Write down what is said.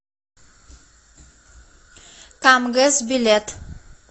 камгэс билет